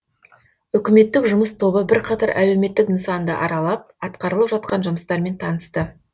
үкіметтік жұмыс тобы бірқатар әлеуметтік нысанды аралап атқарылып жатқан жұмыстармен танысты